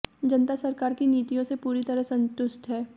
जनता सरकार की नीतियों से पूरी तरह संतुष्ट है